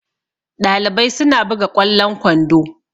Ɗalibai suna buga ƙwallon kwando